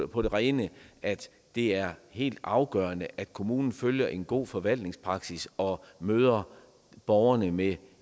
på det rene at det er helt afgørende at kommunen følger en god forvaltningspraksis og møder borgerne med